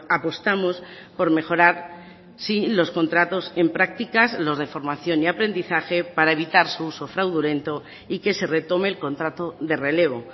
apostamos por mejorar sí los contratos en prácticas los de formación y aprendizaje para evitar su uso fraudulento y que se retome el contrato de relevo